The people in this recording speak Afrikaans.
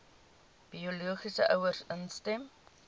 biologiese ouers instem